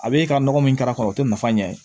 A bɛ e ka nɔgɔ min k'a kɔnɔ o tɛ nafa ɲɛ ye